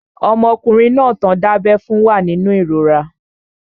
Ọmọkùnrin tán dábẹ́ fún náà wà nínú ìrora